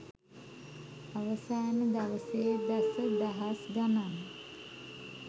අවසාන දවසේ දසදහස් ගණන්